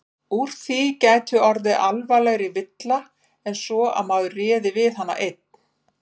Úr því gæti orðið alvarlegri villa en svo að maður réði við hana einn.